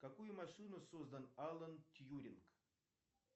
какую машину создал алан тьюринг